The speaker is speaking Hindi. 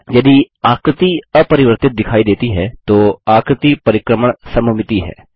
यदि आकृति अपरिवर्तित दिखाई देती है तो आकृति परिक्रमण सममिति है